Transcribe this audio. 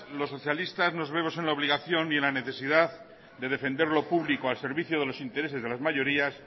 los socialistas nos vemos en la obligación y en la necesidad de defender lo público al servicio de los intereses de las mayorías